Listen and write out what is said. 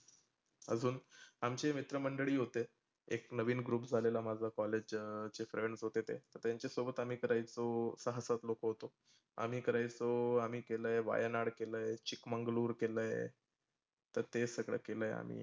अजून आमचे मित्रमंडळी होते. एक नवीन group झालेला माझ्या college चे friends होते ते. त्याच्या सोबत आम्ही करायचो सहा सात लोक होते ते. आम्ही करायचो आम्ही केलय वायानाड केलय, चिकमंगळूर केलय. तर ते सगळ केलय आम्ही.